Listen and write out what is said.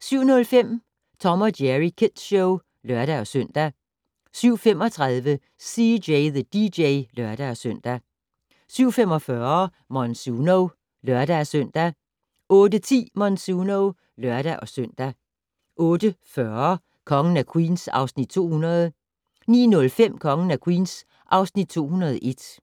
07:05: Tom & Jerry Kids Show (lør-søn) 07:35: CJ the DJ (lør-søn) 07:45: Monsuno (lør-søn) 08:10: Monsuno (lør-søn) 08:40: Kongen af Queens (Afs. 200) 09:05: Kongen af Queens (Afs. 201)